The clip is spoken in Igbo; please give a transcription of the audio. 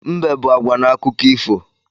Mbe bụ agwa n’akụkọ ifo